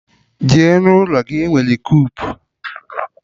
Jee n'ụlọ gị! Enwere kupu.